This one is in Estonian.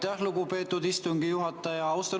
Aitäh, lugupeetud istungi juhataja!